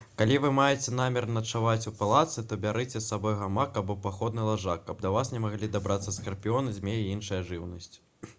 калі вы маеце намер начаваць у палатцы то бярыце з сабой гамак або паходны ложак каб да вас не маглі дабрацца скарпіёны змеі і іншая жыўнасць